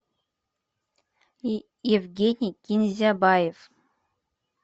евгений кинзябаев